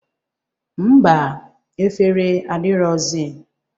Ḿbà, efere adirọzi.